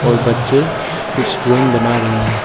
बच्चे कुछ ड्राइंग बना रहे हैं।